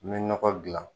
N bɛ nɔgɔ gilan